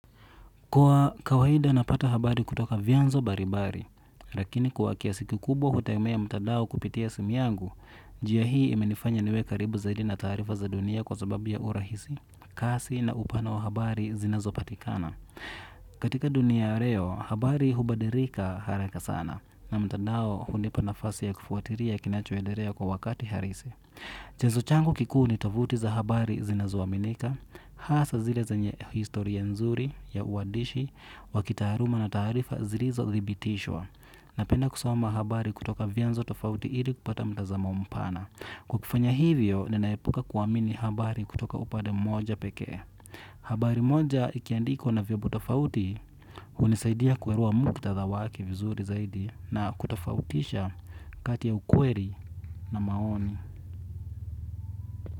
Kwa kawaida napata habari kutoka vianzo baribari, lakini kuwa kiasikikubwa hutamea mtadao kupitia simiangu, jia hii imenifanya niwe karibu zaidi na taarifa za dunia kwa zababia urahisi, kasi na upano habari zinazo patikana. Katika dunia reo, habari hubadirika haraka sana na mtandao hunipa nafasi ya kufuatiria kinacho ederea kwa wakati harisi. Jezo changu kiku ni tavuti za habari zina zowaminika, hasa zile za nye histori ya nzuri ya uwadishi, wakitaruma na tarifa zilizo dhibitishwa, na penda kusoma habari kutoka vianzo tofauti hili kupata mtazamo mpana. Kukufanya hivyo, ninaepuka kuwamini habari kutoka upande moja pekee. Habari moja ikiandikwa na vyombo tofauti hunisaidia kwa mkutadha wake vizuri na kutofautisha kati ya ukweri na maoni.